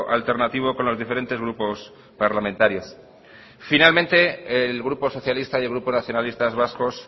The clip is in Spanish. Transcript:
alternativo con los diferentes grupos parlamentarios finalmente el grupo socialista y el grupo nacionalistas vascos